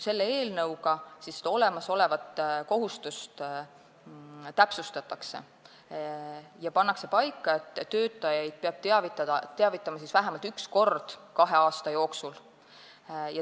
Eelnõuga seda olemasolevat kohustust täpsustatakse ja pannakse paika, et töötajaid peab teavitama vähemalt üks kord kahe aasta jooksul.